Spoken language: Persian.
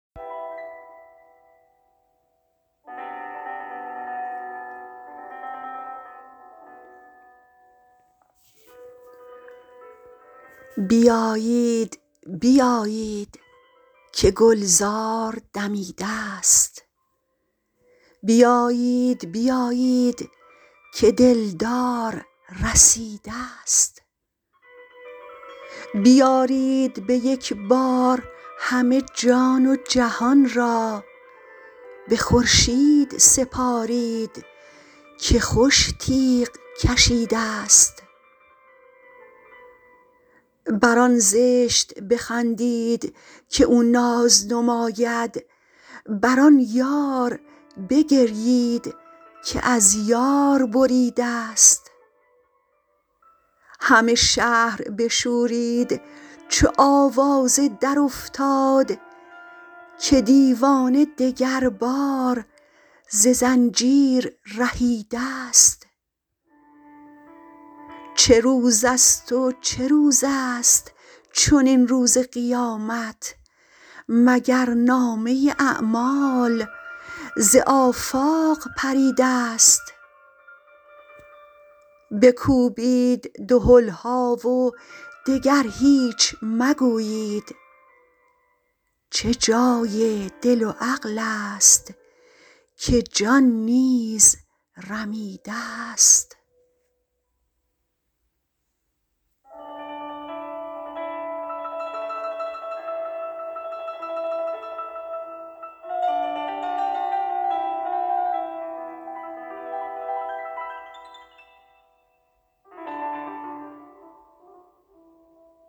بیایید بیایید که گلزار دمیده ست بیایید بیایید که دلدار رسیده ست بیارید به یک بار همه جان و جهان را به خورشید سپارید که خوش تیغ کشیده ست بر آن زشت بخندید که او ناز نماید بر آن یار بگریید که از یار بریده ست همه شهر بشورید چو آوازه درافتاد که دیوانه دگربار ز زنجیر رهیده ست چه روزست و چه روزست چنین روز قیامت مگر نامه اعمال ز آفاق پریده ست بکوبید دهل ها و دگر هیچ مگویید چه جای دل و عقلست که جان نیز رمیده ست